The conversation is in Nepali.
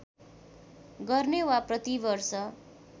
गर्ने वा प्रतिवर्ष